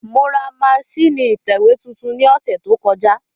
Mo ra masínìì ìtẹ̀wé tuntun ní ọ̀sẹ̀ tó kọjá